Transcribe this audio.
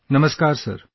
Namaskar Sir